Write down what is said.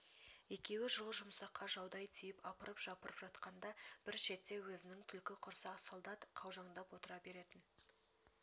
екеуі жылы-жұмсаққа жаудай тиіп апырып-жапырып жатқанда бір шетте өзінің түлкі құрсақ солдат қаужаңдап отыра беретін